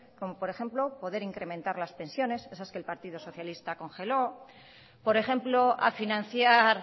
como por ejemplo poder incrementar las pensiones esas que el partido socialista congeló por ejemplo a financiar